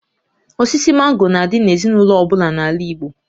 Osisi mango na-adị n'ezinaụlọ ọ bụla n'ala Igbo